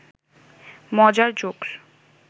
মজার জোকস্